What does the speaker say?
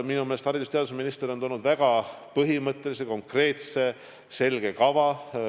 Minu meelest on haridus- ja teadusminister toonud väga põhimõttelise konkreetse selge kava.